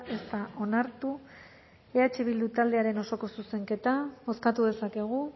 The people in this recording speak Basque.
ez da onartu eh bildu taldearen osoko zuzenketa bozkatu dezakegu